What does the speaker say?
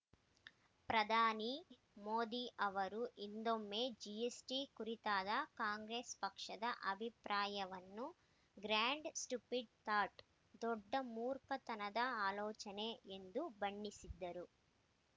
ಪ್ರಧಾನಿ ಮೋದಿ ಅವರು ಹಿಂದೊಮ್ಮೆ ಜಿಎಸ್‌ಟಿ ಕುರಿತಾದ ಕಾಂಗ್ರೆಸ್‌ ಪಕ್ಷದ ಅಭಿಪ್ರಾಯವನ್ನು ಗ್ರಾಂಡ್‌ ಸ್ಟುಪಿಡ್‌ ಥಾಟ್‌ ದೊಡ್ಡ ಮೂರ್ಖತನದ ಆಲೋಚನೆ ಎಂದು ಬಣ್ಣಿಸಿದ್ದರು